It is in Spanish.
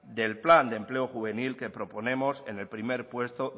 del plan de empleo juvenil que proponemos en el primer